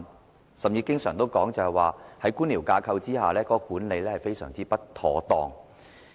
當時甚至經常說，在官僚架構之下，有關管理工作非常不妥當。